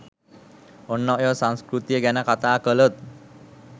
ඔන්න ඔය සංස්කෘතිය ගැන කතා කලොත්